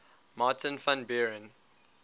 martin van buren